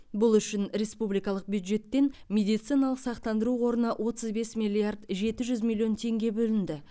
бұл үшін республикалық бюджеттен медициналық сақтандыру қорына отыз бес миллиард жеті жүз миллион теңге бөлінді